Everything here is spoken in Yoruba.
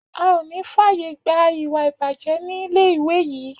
A ò ní fàyè gba ìwà ìbàjẹ́ nílé ìwé yìí!